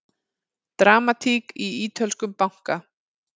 Dramatík í ítölskum banka